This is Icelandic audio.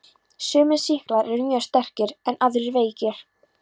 Sumir sýklar eru mjög sterkir en aðrir veikir.